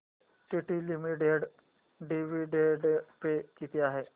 TT limited dividend pay किती आहे